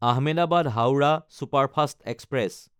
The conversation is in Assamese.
Ahmedabad-Howrah superfast express